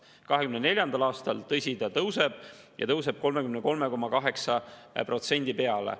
2024. aastal, tõsi, see tõuseb, ja tõuseb 33,8% peale.